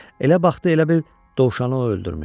Elə baxdı, elə bil dovşanı o öldürmüşdü.